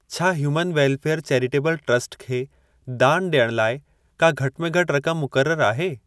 छा human welfare charitable trust खे दान ॾियण लाइ का घटि में घटि रक़म मुक़रर आहे?